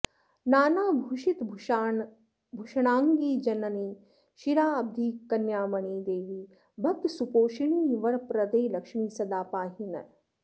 नानाभूषितभूषणाङ्गि जननि क्षीराब्धिकन्यामणि देवि भक्तसुपोषिणि वरप्रदे लक्ष्मि सदा पाहि नः